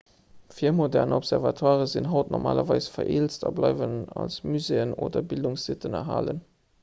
virmodern observatoiren sinn haut normalerweis vereelzt a bleiwen als muséeën oder bildungssitten erhalen